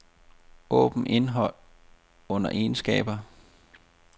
Åbn indhold under egenskaber.